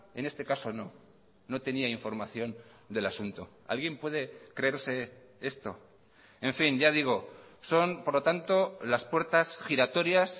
en este caso no no tenía información del asunto alguien puede creerse esto en fin ya digo son por lo tanto las puertas giratorias